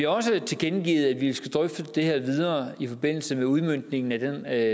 også tilkendegivet at vi skal drøfte det her videre i forbindelse med udmøntningen af